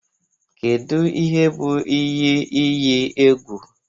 Kedu ihe bụ iyi iyi egwu?